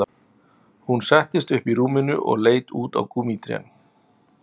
Hún settist upp í rúminu og leit út á gúmmítrén